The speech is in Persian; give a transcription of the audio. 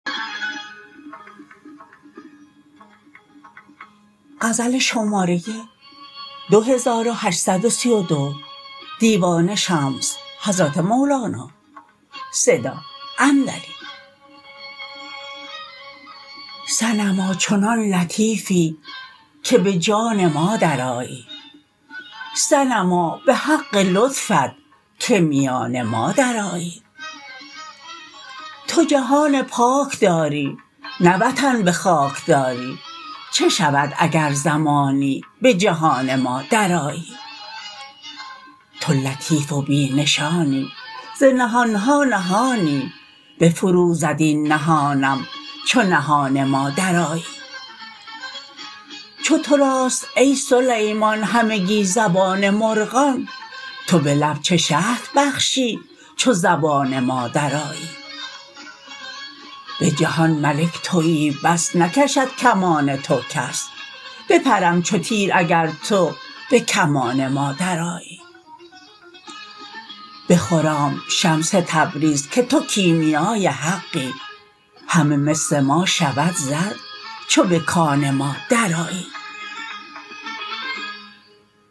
صنما چنان لطیفی که به جان ما درآیی صنما به حق لطفت که میان ما درآیی تو جهان پاک داری نه وطن به خاک داری چه شود اگر زمانی به جهان ما درآیی تو لطیف و بی نشانی ز نهان ها نهانی بفروزد این نهانم چو نهان ما درآیی چو تو راست ای سلیمان همگی زبان مرغان تو به لب چه شهد بخشی چو زبان ما درآیی به جهان ملک توی بس نکشد کمان تو کس بپرم چو تیر اگر تو به کمان ما درآیی بخرام شمس تبریز که تو کیمیای حقی همه مس ما شود زر چو به کان ما درآیی